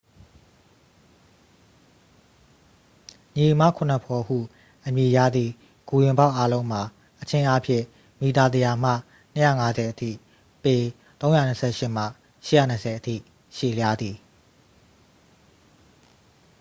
"""ညီအစ်မခုနှစ်ဖော်" ဟု အမည်ရသည့် ဂူဝင်ပေါက်အားလုံးမှာ အချင်းအားဖြင့် မီတာ ၁၀၀ မှ ၂၅၀ အထိ ပေ ၃၂၈ မှ ၈၂၀ အထိ ရှည်လျားသည်။